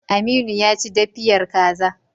Aminu ya ci daffiyar kaza.